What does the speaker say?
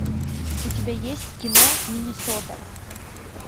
у тебя есть кино миннесота